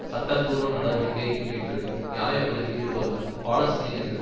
சட்டப்பூர்வ நடவடிக்கை என்று நியாய படுத்தி இருப்பதுடன் பாலஸ்தீனியர்கள்